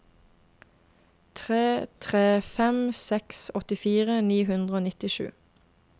tre tre fem seks åttifire ni hundre og nittisju